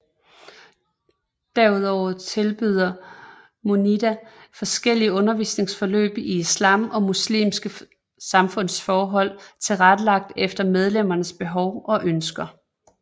Derudover tilbyder Munida forskellige undervisningsforløb i islam og muslimske samfundsforhold tilrettelagt efter medlemmernes behov og ønsker